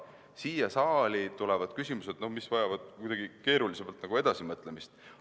Siia saali tulevad need küsimused, mis vajavad kuidagi keerulisemat edasimõtlemist.